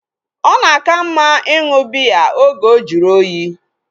Ọ na aka mma ịṅụ biya oge ojuru oyi